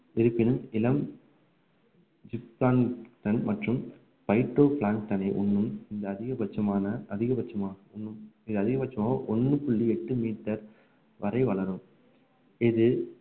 இருப்பினும் இளம் ஜிப்கான்கள் மற்றும் phyto plans களை உண்ணும் இந்த அதிகபட்சமான அதிகபட்சமா அதிகபட்சமா ஒண்ணு புள்ளி எட்டு மீட்டர் வரை வளரும் இது